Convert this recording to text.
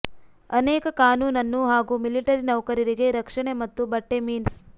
ಅನೇಕ ಕಾನೂನನ್ನು ಹಾಗೂ ಮಿಲಿಟರಿ ನೌಕರರಿಗೆ ರಕ್ಷಣೆ ಮತ್ತು ಬಟ್ಟೆ ಮೀನ್ಸ್